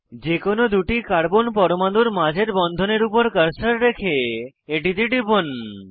যে কোনো দুটি কার্বন পরমাণুর মাঝের বন্ধনের উপর কার্সার রেখে এটিতে টিপুন